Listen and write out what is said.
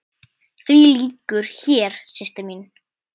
Því lýkur hér, systir mín.